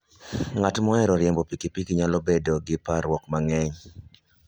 Ng'at mohero riembo pikipiki nyalo bedo gi parruok mang'eny.